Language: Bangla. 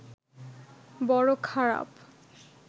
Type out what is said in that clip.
বড় খারাপ